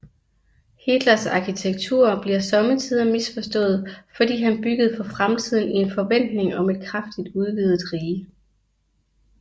Hitlers arkitektur bliver somme tider misforstået fordi han byggede for fremtiden i forventning om et kraftigt udvidet rige